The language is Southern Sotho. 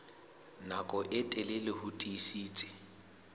nako e telele ho tiisitse